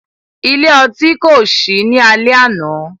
Ile-ọti ko ṣii ni alẹ ana.